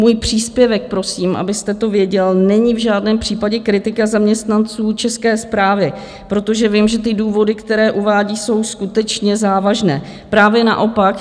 Můj příspěvek, prosím, abyste to věděl, není v žádném případě kritika zaměstnanců České správy, protože vím, že ty důvody, které uvádí, jsou skutečně závažné, právě naopak.